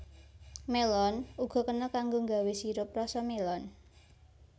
Mélon uga kena kanggo nggawé sirup rasa mélon